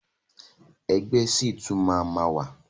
Ẹgbẹ́ ṣì tún máa ma wà.